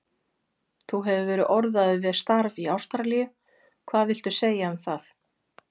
Þú hefur verið orðaður við starf í Ástralíu, hvað viltu segja um það?